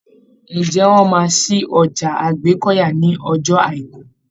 Ǹjẹ́ wọ́n máa ṣí ọjà Àgbẹ́kọ̀yà ní ọjọ́ Àìkú?